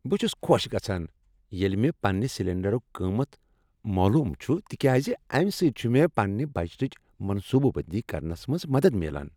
بہٕ چھس خۄش گژھان ییٚلہ مےٚ پننہ سلنڈرُک قیمت معلوم چھ تکیاز امہ سۭتۍ چھ مےٚ پننہ بجٹٕچ منصوبہٕ بندی کرنس منز مدد میلان۔